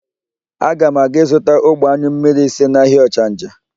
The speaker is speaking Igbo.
Aga m aga ịzụta ogbe ányụ mmmiri ise n'ahịa ọchanja.